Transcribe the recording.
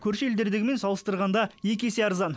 көрші елдердегімен салыстырғанда екі есе арзан